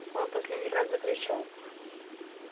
он в последний раз закричал